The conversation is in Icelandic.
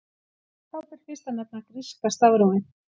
Þá ber fyrst að nefna gríska stafrófið.